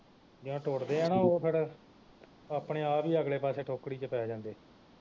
ਜਿਹੜਾ ਟੁੱਟਦੇ ਆ ਨਾ ਉਹ ਫਿਰ ਆਪਣੇ ਆਪ ਹੀ ਅਗਲੇ ਪਾਸੇ ਟੋਕਰੀ ਵਿਚ ਪੈ ਜਾਂਦੇ